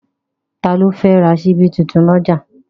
Ta ló fẹ́ ra ṣíbí tuntun lọ́jà?